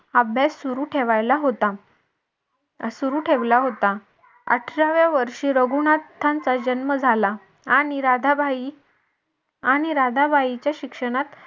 अभ्यास सुरू ठेवायला होता सुरु ठेवला होता अठराव्या वर्षी रघुनाथांचा जन्म झाला आणि राधाबाई आणि राधाबाईंच्या शिक्षणात